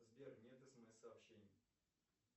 сбер нет смс сообщений